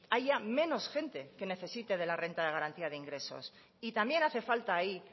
haya menos gente que necesite de la renta de garantía de ingresos y también hace falta ahí